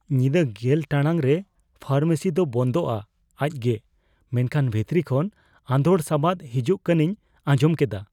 ᱧᱤᱫᱟᱹ ᱑᱐ ᱴᱟᱲᱟᱝ ᱨᱮ ᱯᱷᱟᱨᱢᱮᱥᱤ ᱫᱚ ᱵᱚᱱᱫᱚᱜᱼᱟ, ᱟᱡᱜᱮ ᱾ ᱢᱮᱱᱠᱷᱟᱱ ᱵᱷᱤᱛᱨᱤ ᱠᱷᱚᱱ ᱟᱺᱫᱚᱲ ᱥᱟᱵᱟᱫ ᱦᱤᱡᱩᱜ ᱠᱟᱱᱤᱧ ᱟᱸᱡᱚᱢ ᱠᱮᱫᱟ ᱾